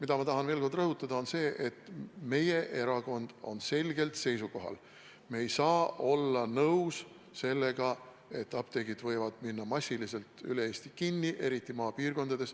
Aga ma tahan veel kord rõhutada, et meie erakond on selgel seisukohal: me ei saa olla nõus sellega, et apteegid võivad minna massiliselt üle Eesti kinni, eriti maapiirkondades.